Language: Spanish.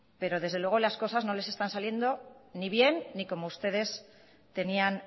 pero desde luego las cosas no les están saliendo ni bien ni como ustedes tenían